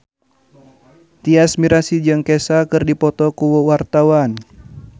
Tyas Mirasih jeung Kesha keur dipoto ku wartawan